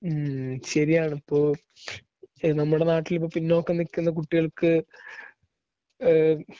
ഉം ശരിയാണ് ഇപ്പോ നമ്മുടെ നാട്ടിൽ ഇപ്പോ പിന്നോക്കം നിൽക്കുന്ന കുട്ടികൾക്ക് ഏഹ്